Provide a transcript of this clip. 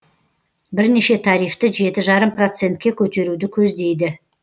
бірнеше тарифті жеті жарым процентке көтеруді көздейді